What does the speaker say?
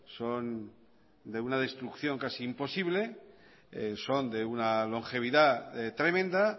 son de una destrucción casi imposible son de una longevidad tremenda